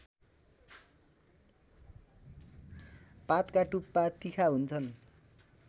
पातका टुप्पा तिखा हुन्छन्